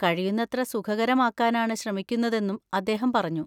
കഴിയുന്നത്ര സുഖകരമാക്കാനാണ് ശ്രമിക്കുന്നതെന്നും അദ്ദേഹം പറഞ്ഞു.